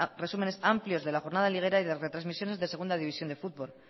resúmenes amplios de la jornada liguera y de retransmisiones de segunda división de fútbol